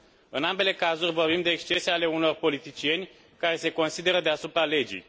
În ambele cazuri vorbim de excese ale unor politicieni care se consideră deasupra legii.